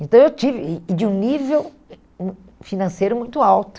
Então eu tive, e e de um nível eh hum financeiro muito alto.